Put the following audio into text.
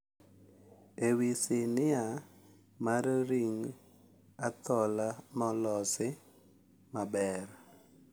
Ewi sinia mar Ring Athola ma olosi maber,